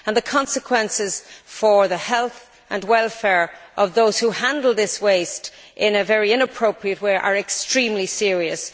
The consequences for the health and welfare of those who handle this waste in a very inappropriate way are extremely serious.